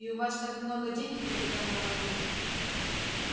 и у вас так много денег капитан батлер